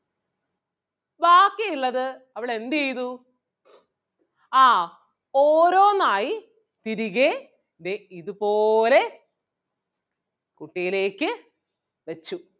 ബാക്കി ഉള്ളത് അവൾ എന്ത് ചെയ്തു ആഹ് ഓരോന്ന് ആയി തിരികേ ദേ ഇതുപോലെ കുട്ടയിലേക്ക് വെച്ചു.